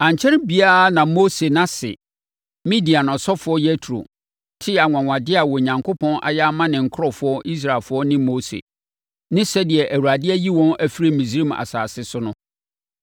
Ankyɛre biara na Mose ase, Midian ɔsɔfoɔ Yetro, tee anwanwadeɛ a Onyankopɔn ayɛ ama ne nkurɔfoɔ Israelfoɔ ne Mose, ne sɛdeɛ Awurade ayi wɔn afiri Misraim asase so no.